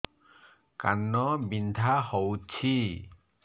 କାନ ବିନ୍ଧା ହଉଛି